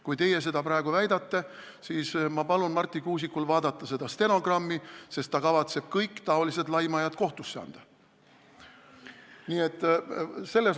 Kui teie seda praegu väidate, siis ma palun Marti Kuusikul vaadata seda stenogrammi, sest ta kavatseb kõik sellised laimajad kohtusse anda.